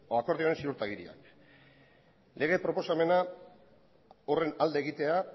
akordioaren ziurtagiria lege proposamena horren alde egitea